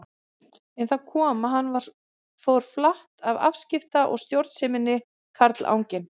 En þar kom að hann fór flatt á afskipta- og stjórnseminni, karlanginn.